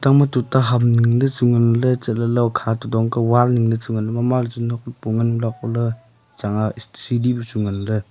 ima tuta ham dingley chu nganley chatley ley hokha to dongka Wall ningley chu nganley mama chun tokto hopo nganley haikoley chang aa siri bu chu nganley.